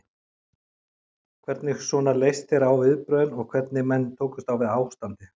Hvernig svona leist þér á viðbrögðin og hvernig menn tókust á við ástandið?